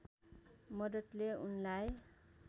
मद्दतले उनलाई